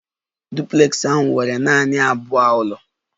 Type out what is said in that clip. Duplex ahụ nwere nanị abụọ ụlọ